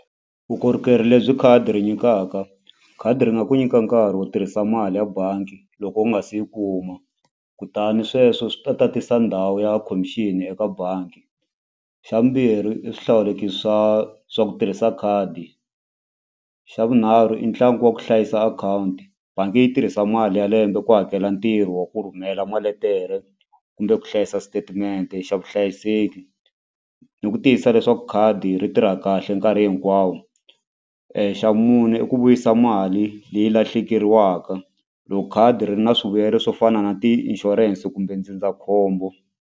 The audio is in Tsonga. Vukorhokeri lebyi khadi ri nyikaka khadi ri nga ku nyika nkarhi wo tirhisa mali ya bangi loko u nga si yi kuma kutani sweswo swi ta tatisa ndhawu ya commission eka bangi. Xa vumbirhi i swihlawulekisi swa swa ku tirhisa khadi xa vunharhu i ntlangu wa ku hlayisa akhawunti bangi yi tirhisa mali ya lembe ku hakela ntirho wa ku rhumela maletere kumbe ku hlayisa statement xa vuhlayiseki ni ku tiyisisa leswaku khadi ri tirha kahle nkarhi hinkwawo xa mune i ku vuyisa mali leyi lahlekeriwaka loko khadi ri ri na swivuyelo swo fana na ti inshurense kumbe ndzindzakhombo.